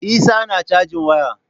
Isah na cajin waya.